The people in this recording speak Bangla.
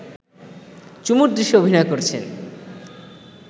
চুমুর দৃশ্যে অভিনয় করছেন